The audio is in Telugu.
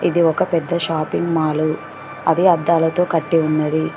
ఇది ఒక పెద్ద షాపింగ్ మాలు అది అద్దాలతో కట్టి ఉన్నది.